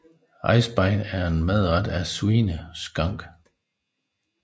Eisbein er en madret af svineskank